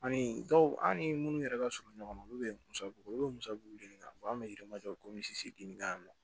Ani dɔw an ni minnu yɛrɛ ka surun ɲɔgɔnna olu bɛ musaka olu bɛ musabu dili kɛ an bɛ yirimajɔ komi misi denni ka mɔ